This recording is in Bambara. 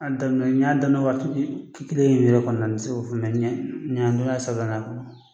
A daminɛ n y'a daminɛ waati kelen min yɛrɛ kɔni na, n ti se k'o fɔ.